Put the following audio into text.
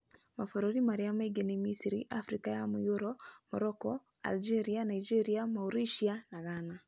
Mabũrũri marĩa mangĩ nĩ Misiri, Afrika ya Mũhuro, Morocco, Algeria, Nigeria, Mauritius, na Ghana.